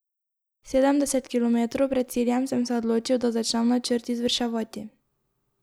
Sedemdeset kilometrov pred ciljem sem se odločil, da začnem načrt izvrševati.